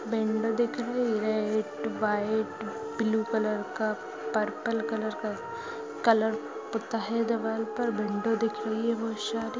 window दिख रही है एक वाइट ब्लू कलर का पर्पल कलर का कलर पुता है दीवार पर विंडो दिख रही है --